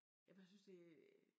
Jamen jeg synes det